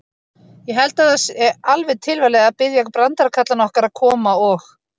Ég held að það sé alveg tilvalið að biðja brandarakallana okkar að koma og.